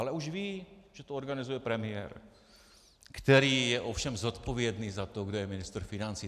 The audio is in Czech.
Ale už ví, že to organizuje premiér, který je ovšem zodpovědný za to, kdo je ministr financí.